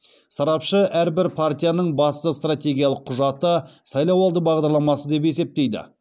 сарапшы әрбір партияның басты стратегиялық құжаты сайлауалды бағдарламасы деп есептейді